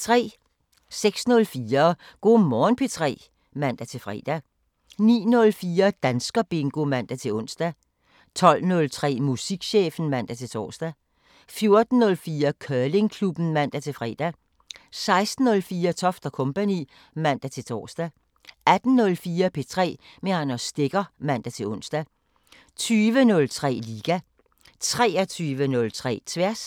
06:04: Go' Morgen P3 (man-fre) 09:04: Danskerbingo (man-ons) 12:03: Musikchefen (man-tor) 14:04: Curlingklubben (man-fre) 16:04: Toft & Co. (man-tor) 18:04: P3 med Anders Stegger (man-ons) 20:03: Liga 23:03: Tværs